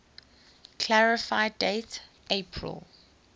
clarify date april